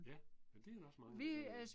Ja. Men det er der også mange